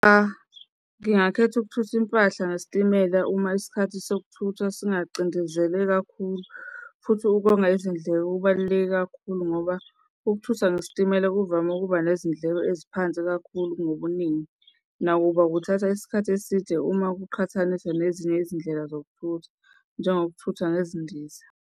Cha, ngingakhetha ukuthutha impahla ngesitimela uma isikhathi sokuthi singacindezelwe kakhulu. Futhi ukonga izindleko kubaluleke kakhulu ngoba ukuthutha ngesitimela kuvame ukuba nezindleko eziphansi kakhulu ngobuningi. Nakuba kuthatha isikhathi eside uma kuqhathaniswa nezindlela zokuthutha, njengokuthutha ngezindiza.